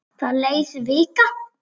Það leið vika.